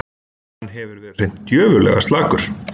Hann hefur verið hreint djöfullega slakur